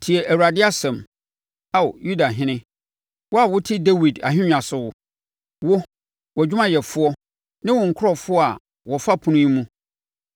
‘Tie Awurade asɛm, Ao, Yudahene, wo a wote Dawid ahennwa so, wo, wʼadwumayɛfoɔ ne wo nkurɔfoɔ a wɔfa apono yi mu.